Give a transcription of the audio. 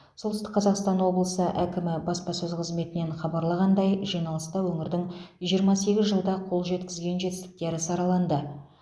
солтүстік қазақстан облысы әкімі баспасөз қызметінен хабарлағандай жиналыста өңірдің жиырма сегіз жылда қол жеткізген жетістіктері сараланды